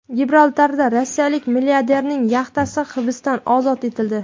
Gibraltarda rossiyalik milliarderning yaxtasi hibsdan ozod etildi.